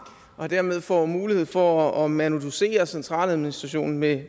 og dermed får mulighed for at manuducere centraladministrationen med